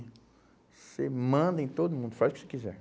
Você manda em todo mundo, faz o que você quiser.